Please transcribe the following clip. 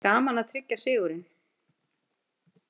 Gaman að tryggja sigurinn